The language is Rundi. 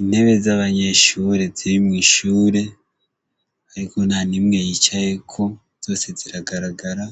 Intebe z'abanyeshure ziri mw'ishure ariko ntanimwe yicaweko, zose ziragaragara.